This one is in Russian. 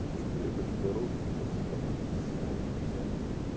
слушай говорю я хочу дорожник спасибо но спор для меня